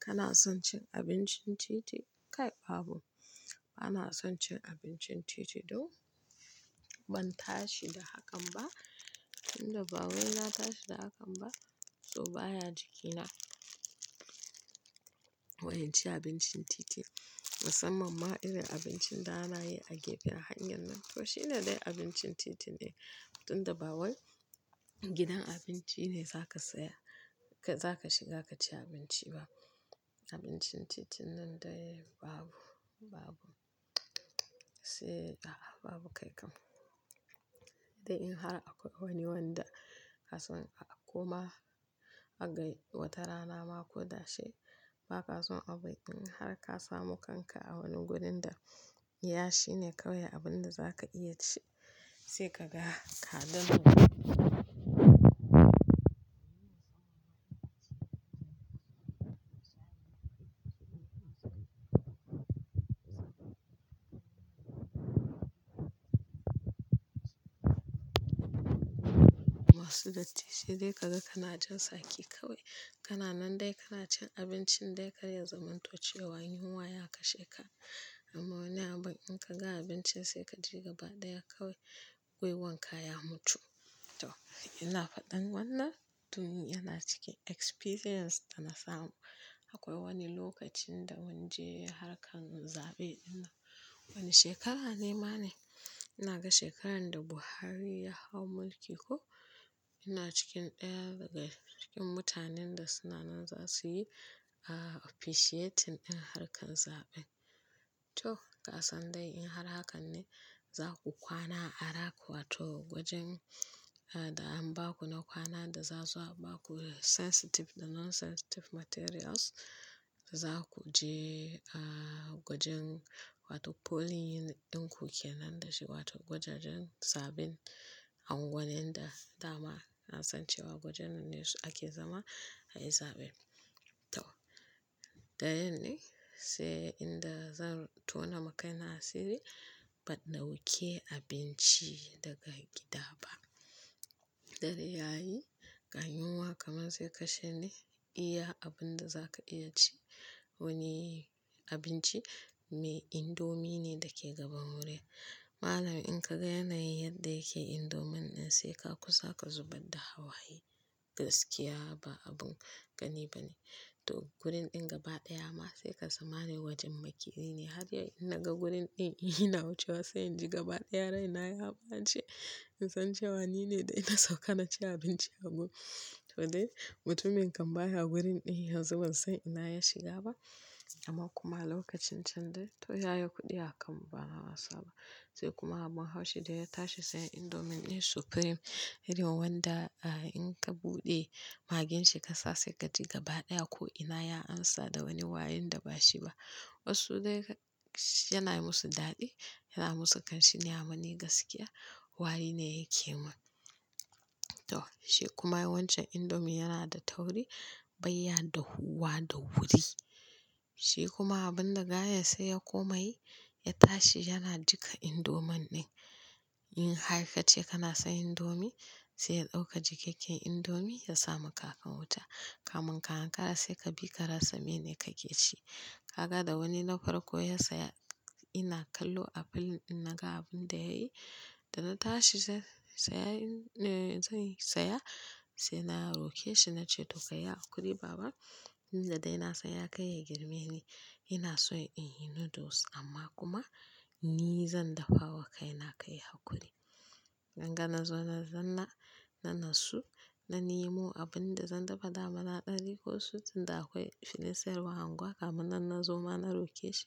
Kana son cin abincin titi? Kai babu. Bana son cin abincin titi, dau ban tashi da hakan ba, tunda bawai na tashi da hakan ba. To baya jikina wani ci abincin titi, musamman ma irin abincin da na yi a gefe hanyar nan. To shine dai abincin titi ne, tunda bawai gidan abinci ne za ka saya, za ka shiga ka ci abinci ba. Abincin titin nan dai babu, babu. Sai a a babu kai kam. Dai in har akwai wani wanda ka so kuma aka yi wata rana ma ko da shi ba ka son abin har ka samu kanka a wani wurin da, iya shine kawai abin da za ka iya ci sai ka ga ka damu. Wasu da titi dai ka ga kana jin saki kawai. Kana nan dai kana cin abincin dai ka ya zamanto cewa wayin kowa ya kashe ka. Amma wani abin in ka ga abincin sai ka je gaba ɗaya kawai, wai wanka ya mutu. To ina faɗan wannan, duniya na ciki experience na samu. Akwai wani lokacin da minje ya harka zaɓe ina. Wani shekara ne ma ne, ina ga shekaran da Buhari ya hau mulki ko ina cikin ɗaya daga cikin mutanen da suna nan za su yi a officiatin in harkar zaɓe. To kasan dai in har hakan ne za ku kwana a raku a to gwajin a da an ba ku na kwana da za su ba ku sensitive da non sensitive materials. Za ku je a gwajin wato polling ɗin ku ke nan da shi wato gwajajen zaɓen a unguwanin da dama na san cewa gwajen ne ake zama a yi zaɓe. To da yin ne sai inda zan tona makai na siri, ban dauke abinci daga gida ba. Dare yayi, ga yunwa kamar sai kashe ni iya abin da za ka iya ci. Wani abinci mai indomie ne da ke gaba murya. Malamin in ka ga yana yi yadda yake indomie ɗin sai ka kusa ka zubar da hawaye. Gaskiya ba abun ƙani ba ne. To gurin ɗin gaba ɗaya ma sai ka zama ne wajen maƙiyi ne. Har in na ga gurin ɗin ina wucewa sai in ji gaba ɗaya raina ya ɓace. In san cewa ni ne dai na sauka na ci abinci a gurin. To dai mutumin kan baya wurin ɗin yanzu ban san ina ya shiga ba. Amma kuma lokacin can dai to ya yi kuɗi a kan mu bana wasa ba. Sai kuma abun haushi dai ya tashi sai indomie ɗin supreme. Hari ma wanda a in ka buɗe magin shi ka sa sai ka ji gaba daya ko ina ya ansa da wani warin da ba shi ba. Wasu dai yana yi musu daɗi, yana yi musu kanshi, nyamani gaskiya wari ne yake mun. To shi kuma wancan indomie yana da tauri, bayya da huwa da wuri. Shi kuma abin da gaya sai ya komai ya tashi yana jiƙa indomie ɗin. In hakika ce kana so indomie sai ya ɗauka jakakken indomie ya sama ka a kan wuta. Kamun kayan ka sai ka bi ka rasa mene kake ci. Ka ga da wani na farko ya saya ina kallo a fil ɗin na ga abin da yayi. Da na tashi sai saya in-- eh zan yi saya sai na roƙe shi na ce to ka yi haƙuri baba. Ni da dai na san ya kai girme ni. Ina so in yi noodles amma kuma ni zan dafawa kai na kai haƙuri. Gangan na zo na zanna, na natsu na nemo abin da zan dafa da amana ɗari ko sut. Inda akwai filesar unguwa kamannan na zo ma na roƙe shi.